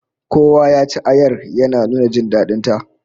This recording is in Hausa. Kowa ya ci ayar, ya nuna jin dadin ta